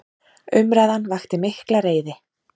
Umræðan vakti mikla reiði.